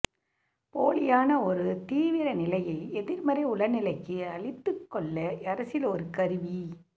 போலியான ஒரு தீவிரநிலையை எதிர்மறை உளநிலைக்கு அளித்துக்கொள்ள அரசியல் ஒரு கருவி